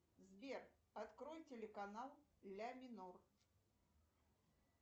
сбер открой телеканал ля минор